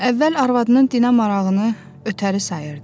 Əvvəl arvadının dinə marağını ötəri sayırdı.